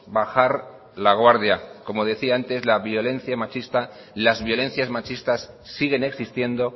bajar la guardia como decía antes las violencias machistas siguen existiendo